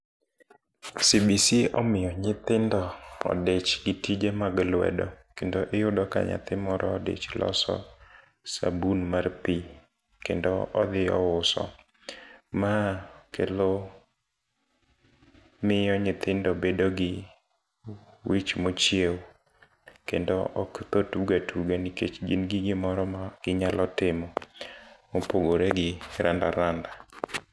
CBC omiyo nyithindo odich gi tije mag lwedo kendo iyudo ka nyathi moro odich loso sabun mar pii kendo odhi ouso. Ma kelo miyo nyithindo bedo gi wich mochiewo kendo ok tho tuga tuga nikech gin gi gimoro ma ginyalo timo mopogore gi randa randa